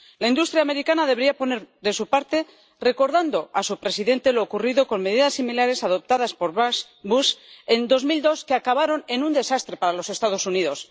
La industria americana debería poner de su parte recordando a su presidente lo ocurrido con medidas similares adoptadas por Bush en 2002, que acabaron en un desastre para los Estados Unidos.